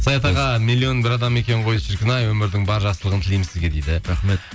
саят аға миллион бір адам екен ғой шіркін ай өмірдің бар жақсылығын тілеймін сізге дейді рахмет